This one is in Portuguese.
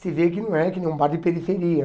Se vê que não é, que nem um bar de periferia.